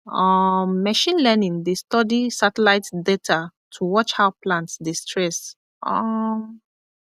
um machine learning dey study satellite data to watch how plant dey stress um